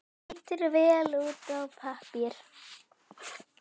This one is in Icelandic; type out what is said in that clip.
Lítur vel út á pappír.